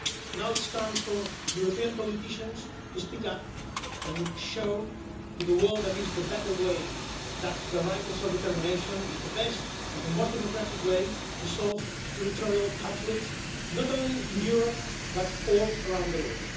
Now it's time for European politicians to speak up and show to the world that it is the better way that the right of self determination is the best and the most democratic way to solve territorial conflicts, not only in Europe, but all around the world.